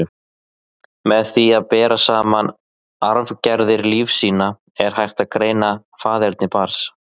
Með því að bera saman arfgerðir lífsýna, er hægt að greina faðerni barns.